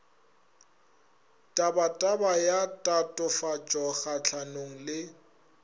tabataba ya tatofatšo kgahlano le